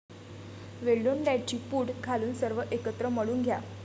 वेलदोड्यांची पूड घालून सर्व एकत्र मळून घ्या.